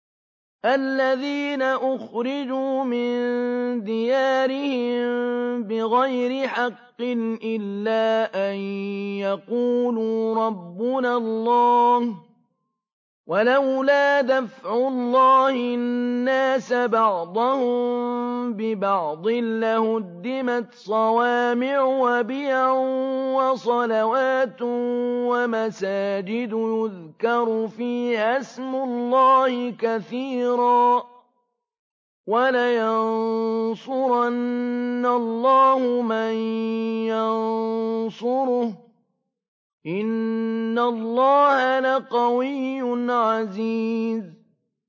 الَّذِينَ أُخْرِجُوا مِن دِيَارِهِم بِغَيْرِ حَقٍّ إِلَّا أَن يَقُولُوا رَبُّنَا اللَّهُ ۗ وَلَوْلَا دَفْعُ اللَّهِ النَّاسَ بَعْضَهُم بِبَعْضٍ لَّهُدِّمَتْ صَوَامِعُ وَبِيَعٌ وَصَلَوَاتٌ وَمَسَاجِدُ يُذْكَرُ فِيهَا اسْمُ اللَّهِ كَثِيرًا ۗ وَلَيَنصُرَنَّ اللَّهُ مَن يَنصُرُهُ ۗ إِنَّ اللَّهَ لَقَوِيٌّ عَزِيزٌ